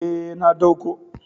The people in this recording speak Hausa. E, na dauko.